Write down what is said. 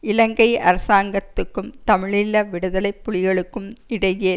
இலங்கை அரசாங்கத்துக்கும் தமிழீழ விடுதலை புலிகளுக்கும் இடையே